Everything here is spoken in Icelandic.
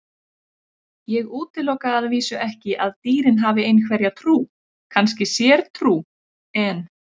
Ég útiloka að vísu ekki að dýrin hafi einhverja trú, kannski sértrú, en.